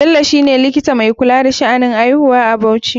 Bello shine likita mai kula da sha'anin aihuwa a bauchi.